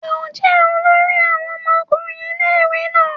Ṣe o jẹ olori àwọn ọmọkùnrin ilé-ìwé náà?